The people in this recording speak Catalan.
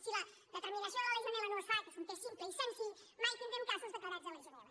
si la determinació de la legionel·la no es fa que és un test simple i senzill mai tindrem casos declarats de legionel·la